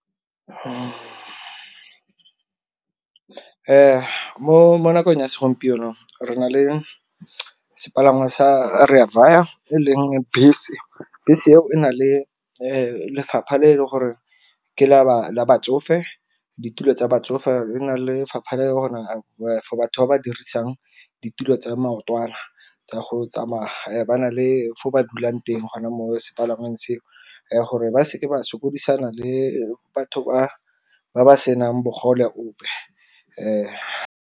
Mo nakong ya segompieno re na le sepalangwa Rea Vaya e leng bese, bese eo e na le lefapha le leng gore ke la ba batsofe ditulo tsa batsofe. Le na lefapha le e leng gore for batho ba ba dirisang ditulo tsa maotwana tsa go tsamaya ba na le fo ba dulang teng gona mo sepalangweng seo, gore ba seke ba sokodisana le batho ba ba senang bogole bope .